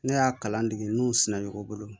Ne y'a kalan dege n'u suna o bolo